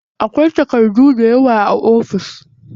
Akwai takardu dayawa a ofis.